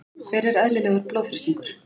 hver er eðlilegur blóðþrýstingur